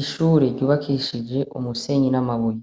Ishure ryubakishije umusenyi n'amabuye